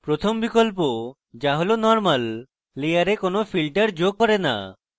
প্রথম বিকল্প the হল normal layer কোনো filter যোগ করে the